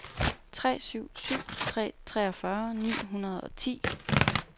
tre syv syv tre treogfyrre ni hundrede og ti